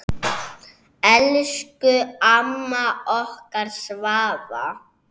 Elsku amma okkar Svava.